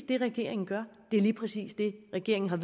det regeringen gør det er lige præcis det regeringen er